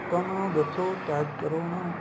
ਲੋਕਾਂ ਨੂੰ ਦੱਸੋ tag ਕਰੋ ਉਹਨਾ ਨੂੰ